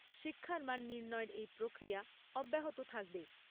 শিক্ষার মান নির্ণয়ের এই প্রক্রিয়া অব্যাহত থাকবে।